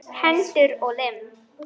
Hendur og lim.